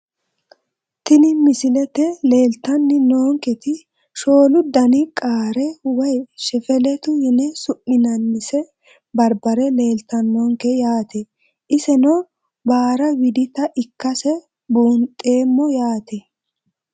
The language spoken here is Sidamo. Tini misilete leeltani noonketi shoolu dani qaare woyi shefilitu yine su`minanise barbare leeltanonke yaate iseno baara widita ikkase buunxemo yaate.